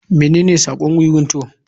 Menene sako wiwin to?